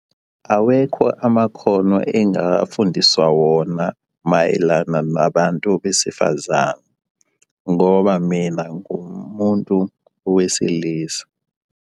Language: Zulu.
Awekho amakhono engafundiswa wona mayelana nabantu besifazane, ngoba mina ngumuntu wesilisa.